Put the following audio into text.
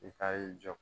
I ka y'i jɔ